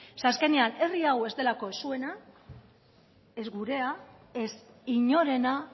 ze azkenean herri hau ez delako ez zuena ez gurea ez inorena